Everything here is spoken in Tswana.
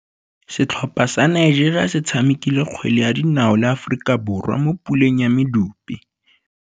Setlhopha sa Nigeria se tshamekile kgwele ya dinaô le Aforika Borwa mo puleng ya medupe.